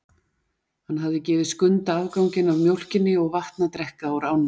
Hann hafði gefið Skunda afganginn af mjólkinni og vatn að drekka úr ánni.